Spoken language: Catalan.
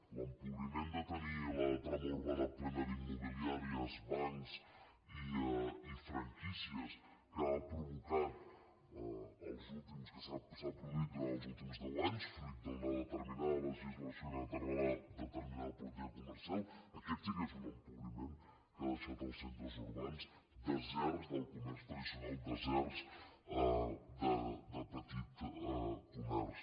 l’empobriment de tenir la trama urbana plena d’immobiliàries bancs i franquí·cies que s’ha produït durant els últims deu anys fruit d’una determinada legislació d’una determinada po·lítica comercial aquest sí que és un empobriment que ha deixat els centres urbans deserts del comerç tradi·cional deserts de petit comerç